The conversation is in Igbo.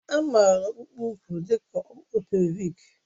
A makwaara ọkpụkpụ úkwù dị ka ọkpụkpụ pèlvịk